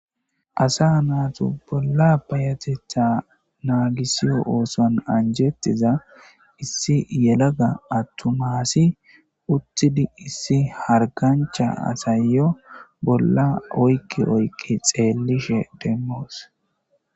Asa naatu bolla payatetha naagisiyo ooson anjettiza issi yelaga attumaasi uttidi issi hargancha asayyo bolla oykki oykqi xeellishe demmoos.